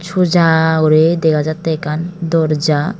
suja guri dega jattey ekkan dorja.